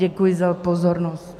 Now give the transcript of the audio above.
Děkuji za pozornost.